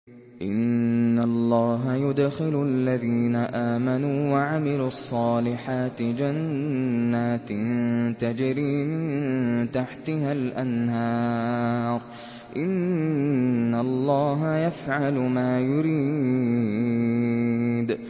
إِنَّ اللَّهَ يُدْخِلُ الَّذِينَ آمَنُوا وَعَمِلُوا الصَّالِحَاتِ جَنَّاتٍ تَجْرِي مِن تَحْتِهَا الْأَنْهَارُ ۚ إِنَّ اللَّهَ يَفْعَلُ مَا يُرِيدُ